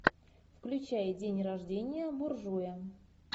включай день рождения буржуя